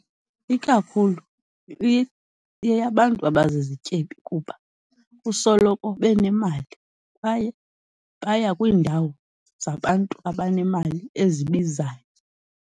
Ikakhulu ibiyeyabantu abazizityebi kuba kusoloko benemali kwaye baya kwiindawo zabantu abanemali ezibizayo.